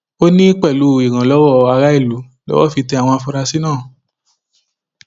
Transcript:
ó ní pẹlú ìrànlọwọ aráàlú lowó fi tẹ àwọn afurasí náà